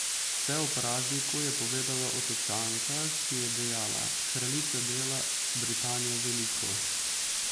Vse o "prazniku" je povedala Otočanka, ki je dejala: "Kraljica dela Britanijo veliko.